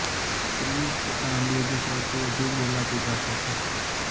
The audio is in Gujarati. સ્પેનિશ તથા અંગ્રેજી સૌથી વધુ બોલાતી ભાષા છે